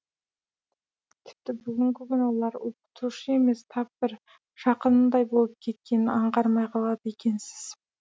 тіпті бүгінгі күні олар оқытушы емес тап бір жақыныңдай болып кеткенін аңғармай қалады екенсіз